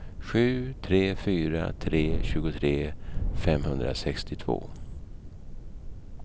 sju tre fyra tre tjugotre femhundrasextiotvå